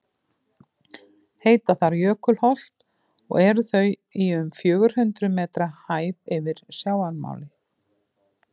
heita þar jökulholt og eru þau í um fjögur hundruð metra hæð yfir sjávarmáli